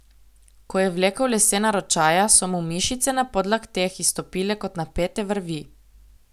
Ko je vlekel lesena ročaja, so mu mišice na podlakteh izstopile kot napete vrvi.